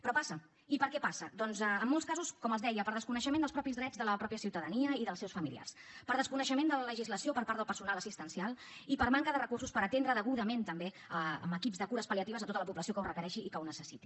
però passa i per què passa doncs en molts casos com els deia per desconeixement dels mateixos drets de la mateixa ciutadania i dels seus familiars per desconeixement de la legislació per part del personal assistencial i per manca de recursos per atendre degudament també amb equips de cures pal·liatives a tota la població que ho requereixi i que ho necessiti